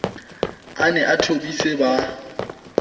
a ne a thobise ba